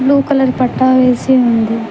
Blue colour పట్టా వేసి ఉంది.